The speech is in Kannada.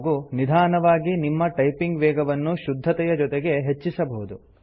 ಹಾಗೂ ನಿಧಾನವಾಗಿ ನಿಮ್ಮ ಟೈಪಿಂಗ್ ವೇಗವನ್ನು ಶುದ್ಧತೆಯ ಜೊತೆಗೆ ಹೆಚ್ಚಿಸಬಹುದು